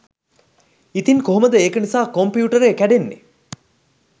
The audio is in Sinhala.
ඉතින් කොහොමද ඒක නිසා කොම්පියුටරේ කැඩෙන්නේ